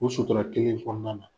O sutura kelen in fɔnɔna na.